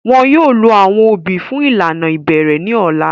Wọn yóò lo awọn obì fun ilana ibẹrẹ ni ọla.